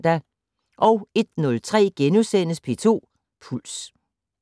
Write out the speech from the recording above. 01:03: P2 Puls *